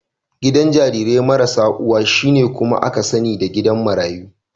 Gidan jarirai marasa uwa, shine kuma aka sani da gidan marayu.